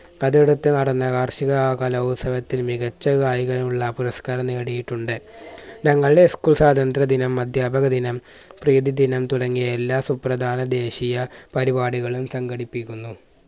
അത് അടുത്ത് നടന്ന വാർഷിക കലോത്സവത്തിൽ മികച്ച ഗായകനുള്ള പുരസ്കാരം നേടിയിട്ടുണ്ട്. ഞങ്ങളുടെ school സ്വാതന്ത്ര്യ ദിനം, അധ്യാപക ദിനം, പ്രീതിദിനം തുടങ്ങിയ എല്ലാ സുപ്രധാന ദേശീയ പരിപാടികളും സംഘടിപ്പിക്കുന്നു.